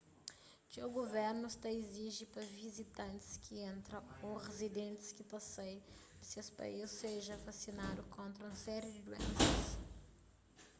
txeu guvernus ta iziji pa vizitantis ki entra ô rizidentis ki ta sai di ses país seja vasinadu kontra un série di duénsas